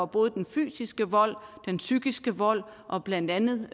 både den fysiske vold den psykisk vold og blandt andet